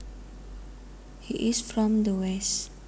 He is from the west